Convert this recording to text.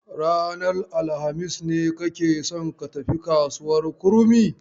Ranar alhamis ne kake son ka tafi kasuwar Kurmi?